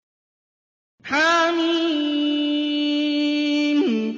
حم